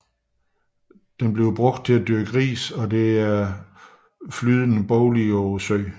Den udnyttes til dyrkning af ris og der er flydende boliger på søen